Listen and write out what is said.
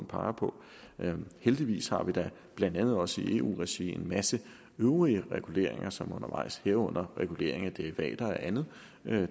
peger på heldigvis har vi da blandt andet også i eu regi en masse øvrige reguleringer som er undervejs herunder regulering af derivater og andet